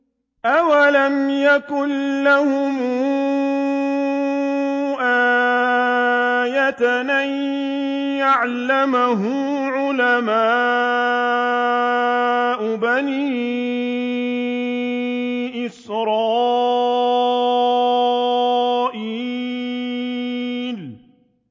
أَوَلَمْ يَكُن لَّهُمْ آيَةً أَن يَعْلَمَهُ عُلَمَاءُ بَنِي إِسْرَائِيلَ